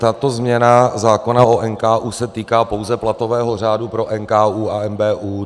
Tato změna zákona o NKÚ se týká pouze platového řádu pro NKÚ a NBÚ.